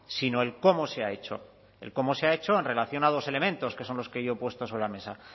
sino el cómo se ha hecho el cómo se ha hecho en relación a dos elementos que son los que yo he puesto sobre la mesa